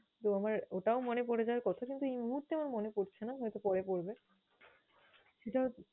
তো আমার ওটাও মনে পরে যাওয়ার কথা কিন্তু এই মুহূর্তে আমার মনে পরছে না হয়তো পরে পরবে, সেটা হ~